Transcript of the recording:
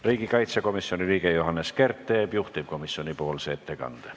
Riigikaitsekomisjoni liige Johannes Kert teeb juhtivkomisjoni ettekande.